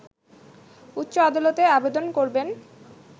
উচ্চ আদালতে আবেদন করবেন